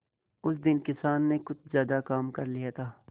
उस दिन किसान ने कुछ ज्यादा काम कर लिया था